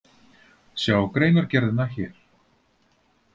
Sjá greinargerðina hér